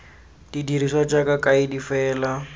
di dirisiwa jaaka kaedi fela